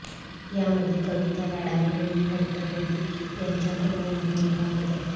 यामध्ये कविता लाड आणि रोहिणी हट्टंगडी यांच्या प्रमुख भूमिका होत्या